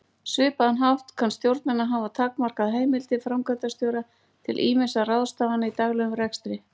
svipaðan hátt kann stjórnin að hafa takmarkað heimildir framkvæmdastjóra til ýmissa ráðstafana í daglegum rekstri.